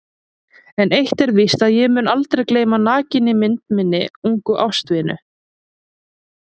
En eitt er víst að ég mun aldrei gleyma nakinni mynd minnar ungu ástvinu.